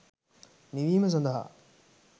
නිවීම සඳහා